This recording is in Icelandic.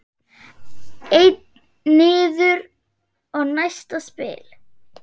Einn niður og næsta spil.